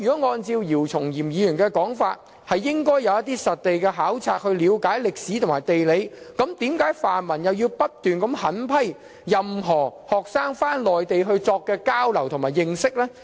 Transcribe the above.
按照姚松炎議員的說法，學生應該進行一些實地考察，了解歷史和地理，那為何泛民議員又不斷狠批學生返回內地進行交流的活動呢？